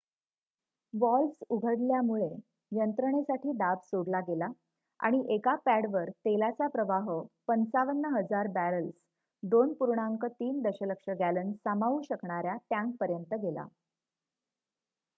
valves उघडल्यामुळे यंत्रणेसाठी दाब सोडला गेला आणि एका पॅडवर तेलाचा प्रवाह ५५,००० बॅरल्स २.३ दशलक्ष गॅलन सामावू शकणाऱ्या टँकपर्यंत गेला